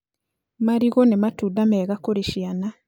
Marigũ nĩ matunda mega kũrĩ ciana